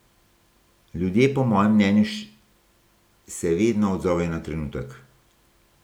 Ljudje po mojem mnenju se vedno odzovejo na trenutek.